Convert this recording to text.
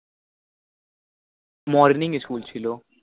morning school ছিল